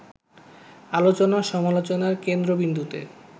আলোচনা-সমালোচনার কেন্দ্রবিন্দুতে